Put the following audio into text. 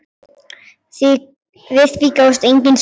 Við því gáfust engin svör.